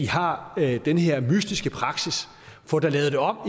har den her mystiske praksis få da lavet det om